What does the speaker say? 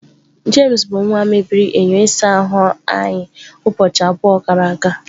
James nwa mebiri enyo ụlọ ịsa ahụ anyị ụbọchị abụọ gara aga.